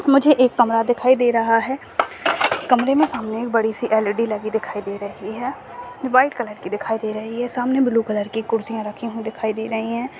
मुझे एक कमरा दिखाई दे रहा है कमरे में सामने एक बड़ी सी ऐल_ई_डी दिखाई दे रही है व्हाईट कलर की दिखाई दे रही है सामने ब्लू कलर की कुर्सियां रखी हुई दिखाई दे रही है।